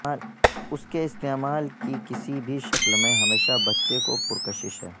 اس کے استعمال کی کسی بھی شکل میں ہمیشہ بچے کو پرکشش ہے